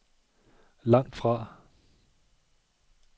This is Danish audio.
langtfra